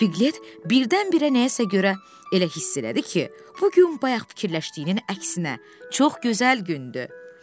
Pilet birdən-birə nəyəsə görə elə hiss elədi ki, bu gün bayaq fikirləşdiyinin əksinə, çox gözəl gündür.